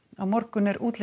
á morgun er útlit